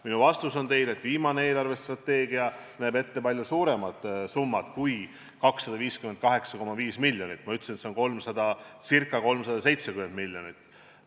Minu vastus teile on, et viimane eelarvestrateegia näeb ette palju suurema summa kui 258,5 miljonit, ma ütlesin, et see on ca 370 miljonit.